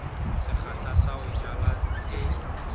sekgahla sa ho jala e